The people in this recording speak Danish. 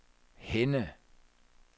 Henne